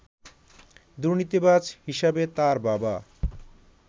দুর্নীতিবাজ হিসাবে তার বাবা